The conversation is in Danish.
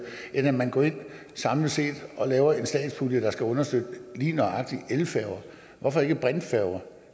end at man går ind samlet set og laver en statspulje der skal understøtte lige nøjagtig elfærger hvorfor ikke brintfærger